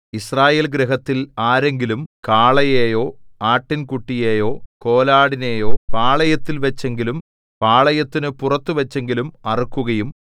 യിസ്രായേൽഗൃഹത്തിൽ ആരെങ്കിലും കാളയെയോ ആട്ടിൻകുട്ടിയെയോ കോലാടിനെയോ പാളയത്തിൽവച്ചെങ്കിലും പാളയത്തിനു പുറത്തുവച്ചെങ്കിലും അറുക്കുകയും